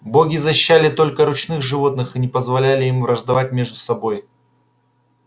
боги защищали только ручных животных и не позволяли им враждовать между собой